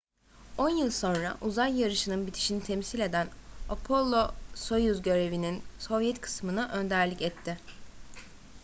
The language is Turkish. on yıl sonra uzay yarışı'nın bitişini temsil eden apollo-soyuz görevinin sovyet kısmına önderlik etti